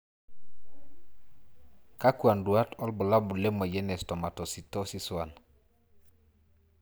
Kakwa nduat wobulabul lemoyian e stomatocytosis I?